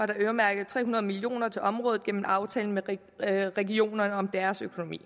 der øremærket tre hundrede million kroner til området gennem aftalen med regionerne om deres økonomi